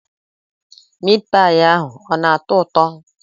Meatpie ahụ ọ na-atọ ụtọ?